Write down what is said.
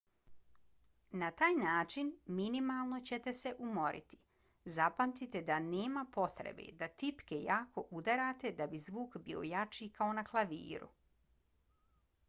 na taj način minimalno ćete se umoriti. zapamtite da nema potrebe da tipke jako udarate da bi zvuk bio jači kao na klaviru